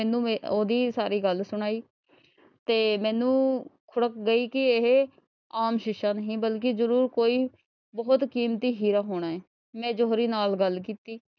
ਵੀ ਸਾਰੀ ਗੱਲ ਸੁਣਾਈ ਤੇ ਮੈਨੂੰ ਖੁੜਕ ਗਈ ਕਿ ਇਹ ਆਮ ਸ਼ੀਸ਼ਾ ਨਹੀਂ ਬਲਕਿ ਜ਼ਰੂਰ ਕੋਈ ਬਹੁਤ ਕੀਮਤੀ ਹੀਰਾ ਹੋਣਾ ਹੈ, ਮੈਂ ਜੌਹਰੀ ਨਾਲ ਗੱਲ ਕੀਤੀ।